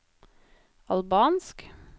albansk